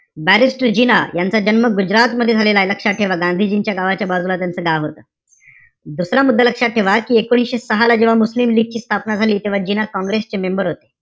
Barristor Jinnah यांचा जन्म गुजरात मध्ये झालेलाय. लक्षात ठेवा. गांधीजींच्या गावाच्या बाजूला त्यांचं गाव आहे. दुसरा मुद्दा लक्षात ठेवा कि एकोणीशे सहाला जेव्हा मुस्लिम लीग ची स्थापना झाली, तेव्हा जिना काँग्रेसचे member होते.